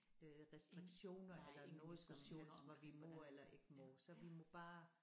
Øh restriktioner eller noget som helst hvad vi må eller ikke må så vi må bare